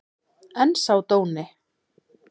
En sá dóni!